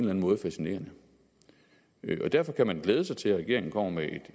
anden måde fascinerende derfor kan man glæde sig til at regeringen kommer med